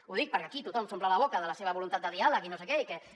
ho dic perquè aquí tothom s’omple la boca de la seva voluntat de diàleg i no sé què i que